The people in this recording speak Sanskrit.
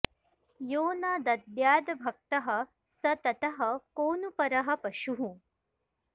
यो न दद्यादभक्तः स ततः को नु परः पशुः